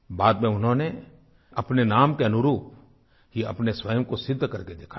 बाद में उन्होंने अपने नाम के अनुरूप ही अपने स्वयं को सिद्ध करके दिखाया